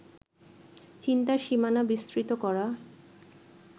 চিন্তার সীমানা বিস্তৃত করা